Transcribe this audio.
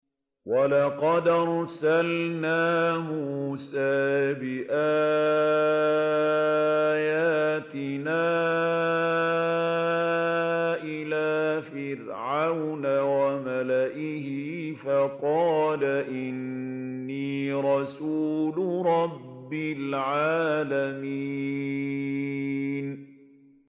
وَلَقَدْ أَرْسَلْنَا مُوسَىٰ بِآيَاتِنَا إِلَىٰ فِرْعَوْنَ وَمَلَئِهِ فَقَالَ إِنِّي رَسُولُ رَبِّ الْعَالَمِينَ